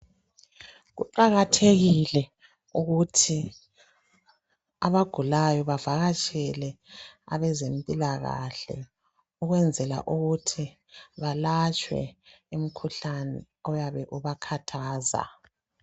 Kuqakathekile ukuthi abagulayo bavakatshele abezempilakahle okwenzela ukuthi balatshwe umkhuhlane oyabe ubakhathaza.